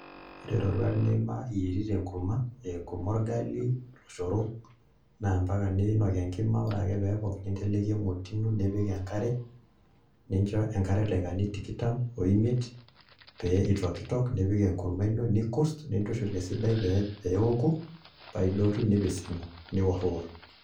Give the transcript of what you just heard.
Ore iroruat niima iyierita enkurma aa enkurma orgali, oloshorok naa imbaka niinok enkima ore ake pee epok ninteleki emoti ino nipik enkare ninjo enkare idakikani tikitam oimet pee itokitok nipik enkurma ino nikurss nintushul esidai pee ewoku paa idotu nipissing'u niworriworr